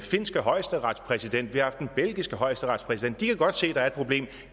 finske højesteretspræsident vi har haft den belgiske højesteretspræsident og de kan godt se at der er et problem